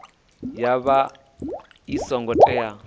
ya vha i songo tea